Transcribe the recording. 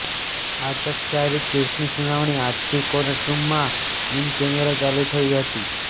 આ ચકચારીત કેસની સુનાવણી આજથી કોર્ટ રૂમમાં ઇનકેમેરા ચાલુ થઇ હતી